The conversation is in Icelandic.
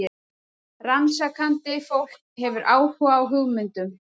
Rannsakandi fólk hefur áhuga á hugmyndum.